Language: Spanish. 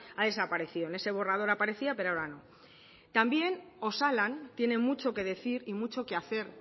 ha desaparecido en ese borrador aparecía pero ahora no también osalan tiene mucho que decir y mucho que hacer